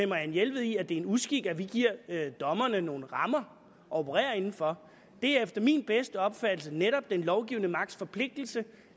marianne jelved i at det er en uskik at vi giver dommerne nogle rammer at operere inden for det er efter min bedste opfattelse netop den lovgivende magts forpligtelse